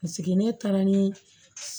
Paseke ne taara ni